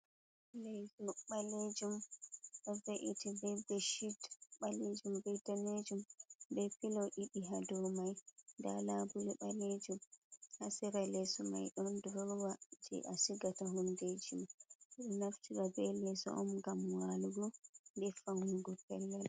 Leso balejum ɗo veiti ɓe ɓechid balejum be dannejum, be filo ɗiɗi ha do mai, nda labule balejum ha sera leso mai ɗon durowa je a sigata hundejima, o naftrgo be leso on ngam walugo nde faunugo pellal.